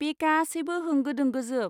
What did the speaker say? बे गासैबो होंगो दोंगोजोब।